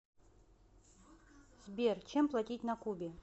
сбер чем платить на кубе